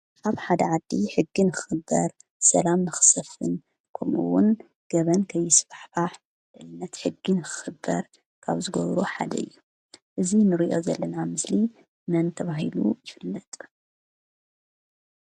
ኣብ ሓደ ዓዲ ሕጊ ንክክበር ሰላም ክሰፍን ከምኡ ውን ገበን ከይስፋሕፋሕ ነቲ ሕጊ ካብ ክክበር ካብ ዝገብሩ ሓደ እዩ። እዚ ንሪኦ ዘለና ምስሊ መን ተባሂሉ ይፍለጥ?